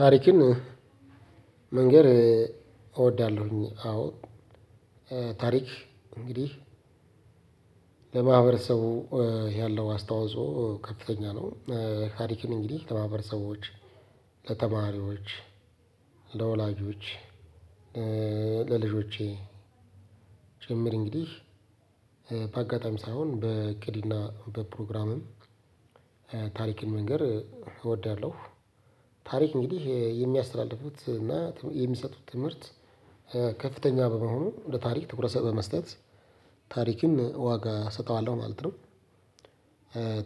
ታሪክን መንገር እወዳለሁኝ። አዎ ታሪክ እንግዲህ ለማህበረሰቡ ያለው አስተዋፅኦ ከፍተኛ ነው። ታሪክን እንግዲህ ለማህበረሰቦች ለተማሪዎች ለወላጆች ለልጆቸ ጭምር እንግዳህ በአጋጣሚ ሳይሆን በእቅድና በፕሮግራም ታሪክን መንገር እዘዳለሁ። ታሪክ እንግዲህ የሚያስተላልፉት እና የሚሰጡት ትምህርት ከፍተኛ በመሆኑ ለታሪክ ትኩረት በመስጠት ታሪክን ዋጋ እሰጠዋለሁ ማለት ነው።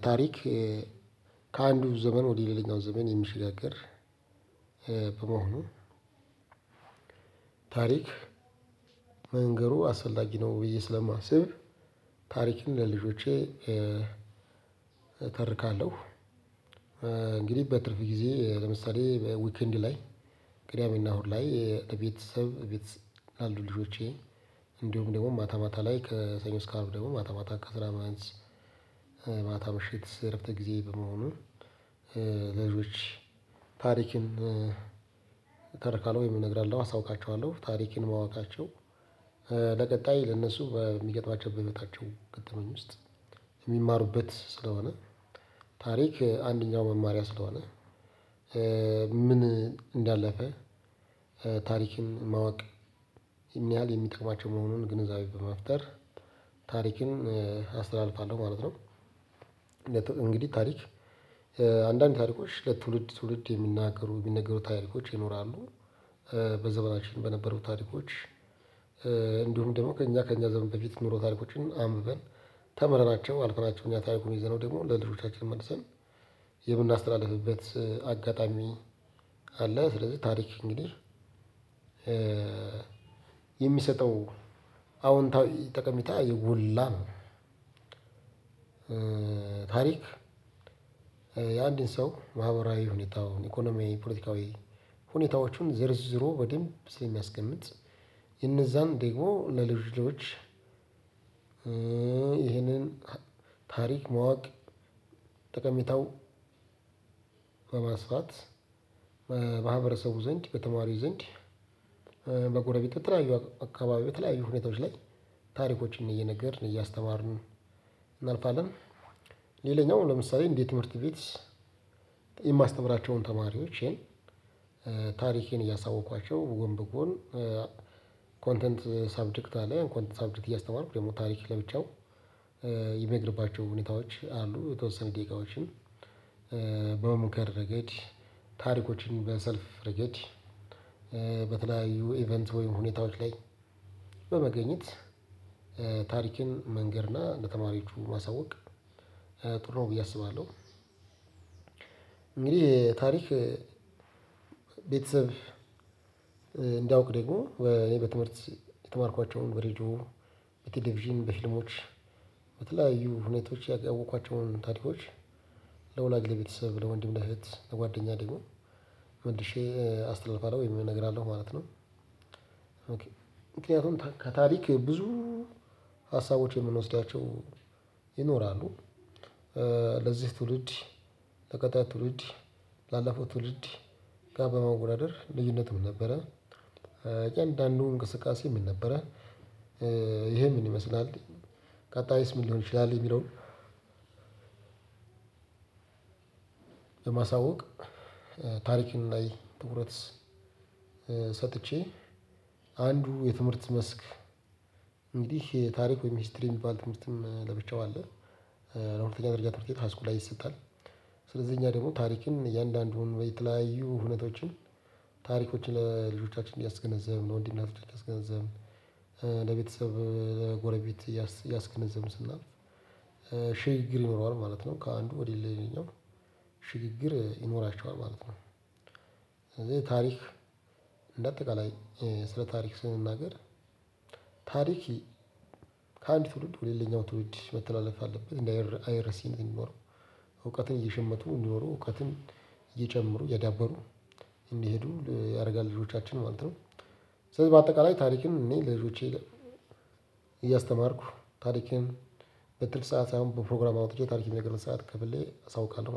ታሪክ ከአንዱ ዘመን ወደ ሌላኛው ዘመን የሚሸጋገር በመሆኑ ታሪክ መንገሩ አስፈላጊ ነው ብዬ ስለማስብ ታሪክን ለልጆቼ እተርካለሁ። እንግዲህ በትርፍ ጊዜ ለምሳሌ ዊክንድ ላይ ቅዳሜና እሁድ ላይ ለቤተሰብ ቤተሰብ ያሉ ልጆቼ እንደውም ደግሞ ማታ ማታ ላይ ከሰኞ እሰከ አርብ ደግሞ ማታ ማታ ከስራ መልስ ማታ ምሽት እረፍተ ጊዜ በመሆኑ ለልጆች ታሪክን እተርካለሁ። ወይም አነግራለሁ አሳውቃችኋለሁ ታሪክን ማወቃቸው ለቀጣይ ለእነሱ በሚገጥማቸው በህይወታቸው ገጠመኝ ውስጥ የሚማሩበት ስለሆነ ታሪክ አንደኛው መማሪያ ስለሆነ ምን እንዳለፈ ታሪክን ማወቅ የሚያህል የሚጠቅማቸው መሆኑን ግንዛቤ በመፍጠር ታሪክን አስተላልፋለሁ ማለት ነው። እንግዲህ ታሪክ አንዳንድ ታሪኮች ለትውልድ ትውልድ የሚናገሩ የሚነገሩ ታሪኮች ይኖራሉ በዘበናችን በነበሩት ታሪኮች እንዲሁም ደግሞ ከእኛ ከእኛ ዘበን በፊት የኖሩ ታሪኮችን አንብበን ተምረናቸውው አልፈናቸው እኛ ታሪኩን ይዘነው ደግሞ ለልጆቻችን መልሰን የምናስተላልፍበት አጋጣሚ አለ። ስለዚህ ታሪክ እንግዲህ አወንታዊ ጠቀሜታ የጎላ ነው። ታሪክ የአንድን ሰው ማህበራዊ ሁኔታውን ኢኮኖሚ ፖለቲካዊ ሁኔታዎቹን ዘርዝሮ በደንብ ስለሚያስቀምጥ እነዛን ደግሞ ለልጅ ልጆች ይህንን ታሪክ ማወቅ ተቀምጠው በማስፋት በማህበረሰቡ ዘንድ በተማሪው ዘንድ በጎረቤት በተለያዩ አካባቢ በተለያዩ ሁኔታዎች ላይ ታሪኮችን እየነገርን እያስተማርን እናልፋለን። ሌላኛው ለምሳሌ እንደትምህርት ቤት የማስተምራቸውም ተማሪወቸ ታሪኬን እያሳወቅኳቸው ጎን በጎን ኮንተንት ሳብጀክት አለ ኮንተንት ሳብጀክት እያስተማረ ደግሞ ታሪክ ለብቻው የማደርግባቸው ሁኔታዎች አሉ የተወሰኑ ደቂቃዎችን በሙከራ ረገድ ታሪኮችን በሰልፍ ረገድ በተለያዩ ኢቨንት ወይም ሁኔታዎች ላይ በመገኘት ታሪክን መንገር እና ለተማሪዎቹ ማሳወቅ ጥሩ ብዬ አስባለሁ። እንግዲህ ታሪክ ቤተሰብ እንዳውቅ ደግሞ በትምህርት የተማርኳቸውን በሬዲዮ በቲቪዥን በፊልሞች በተለያዩ ሁኔታዎች ያወቅኳቸውን ታሪኮች ለወላጅ ለቤተሰብ ለወንድም ለእህት ለጓደኛ ደግሞ መልሼ አስተላልፋለሁ ወይም እነግራለሁ ማለት ነው። ምክንያቱም ከታሪክ ብዙ ሀሳቦች የምንወስዳቸው ይኖራሉ ለዚህ ትውልድ ለቀጣይ ትውልድ ላለፈው ትውልድ ጋር በማወዳደር ልዩነትም ነበረ እያንዳንዱ እንቅስቃሴ ምን ነበረ ይኸ ምን ይመስላል? ቀጣይስ ምን ሊሆን ይችላል? ቀጣይስ ታሪክም ላይ ትኩረት ሰጥቼ አንዱ የትምህርት መስክ እንግዲህ ታሪክ ወይም ሂስትሪ የሚባል ትምህርትም ለብቻው አለ። ለሁለተኛ ደረጃ ትምህርት ቤት ሀይስኩል ላይ ይሰጣል። ስለዚህ እኛ ደግሞ ታሪክን እያንዳንዱን የተለያዩ እውነቶችን ታሪኮችን ለልጆቻችን እያስገነዘብን ነው እንዲህ እናስገነዘብን ለቤተሰብ ለጎረቤት እያስገነዘብን ስናልፍ ሽግግር ይኖረዋል ማለት ነው። ከአንዱ ወደ ሌላኛው ሽግግር ይኖራቸዋል ማለት ነው። ከዚህ ታሪክ እንደ አጠቃላይ ስለ ታሪክ ስንናገር ታሪኪ ከአንድ ትውልድ ወደ ሌላኛው ትውልድ መተላለፍ አለበት እንደ አይረሴ እንደሚኖረው እየሸመቱ እንዲኖሩ እውቀትን እየጨመሩ የዳበሩ እንሂዱ ያደርጋል ልጆቻችን ማለት ነው። ስለዚህ በአጠቃላይ ታሪክን እኔ ለልጆቼ እያስተማርኩ ታሪኬን በትርፍ ሰዓት ሳይሆን በፕሮግራም አውጥቸ ታሪክ የሚነግርህ ሰዓት ከፍሌ አሳውቃለሁ